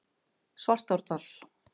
Svartárdal